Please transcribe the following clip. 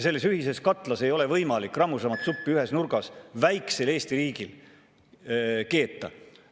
Sellises ühises katlas ei ole võimalik ühes nurgas väikesel Eesti riigil rammusamat suppi keeta.